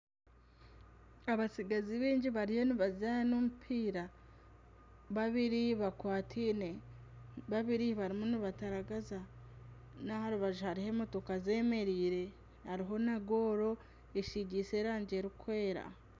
Abatsigazi bingi bariyo nibazaana omupiira, babiri bakwatiine, babiri barimu nibataragaza, naha rubaju hariho emotoka zemereire hariho na gooro esigiise erangi erikwera.